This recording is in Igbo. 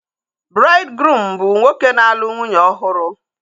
Braidgruum bụ nwoke na-alụ nwunye ọhụrụ